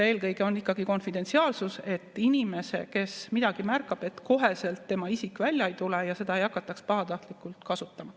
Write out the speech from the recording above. Eelkõige on ikkagi konfidentsiaalsus, et selle inimese, kes midagi märkab, isik välja ei tule ja seda ei hakata pahatahtlikult kasutama.